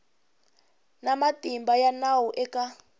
na matimba ya nawu eka